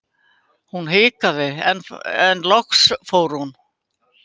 Hún hikaði enn en loks fór hún.